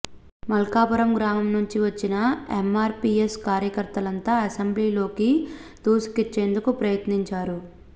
మల్కాపురం గ్రామం నుంచి వచ్చిన ఎమ్మార్పీఎస్ కార్యకర్తలంతా అసెంబ్లీలోకి దూసుకొచ్చేందుకు ప్రయత్నించారు